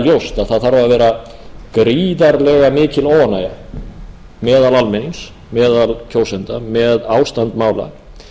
ljóst að það þarf að vera gríðarlega mikil óánægja meðal almennings meðal kjósenda með ástand mála